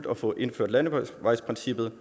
at få indført landevejsprincippet